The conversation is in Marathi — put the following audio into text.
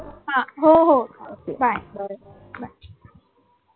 हा हो हो ok bye